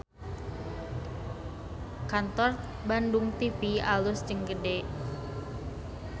Kantor Bandung TV alus jeung gede